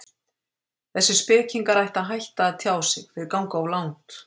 Þessir spekingar ættu að hætta að tjá sig, þeir ganga of langt.